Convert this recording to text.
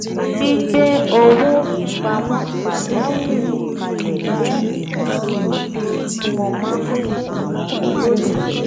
gbígbé owó ìpamọ́ pajawírí kalẹ̀ jẹ́ ìmọ̀ràn pàtàkì tí mo máa ń fún àwọn olólùfẹ́